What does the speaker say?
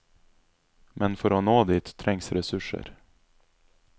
Men for å nå dit trengs ressurser.